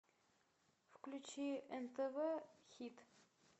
включи нтв хит